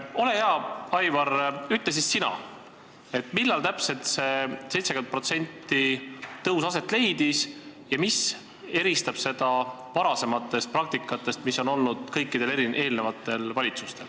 Ole hea, Aivar, ütle siis sina, millal täpselt see 70%-line tõus aset leidis ja mis eristab seda varasematest praktikatest, mis on olnud kõikidel eelnevatel valitsustel.